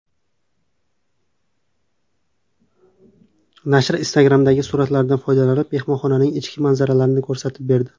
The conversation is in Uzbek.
Nashr Instagram’dagi suratlardan foydalanib, mehmonxonaning ichki manzaralarini ko‘rsatib berdi.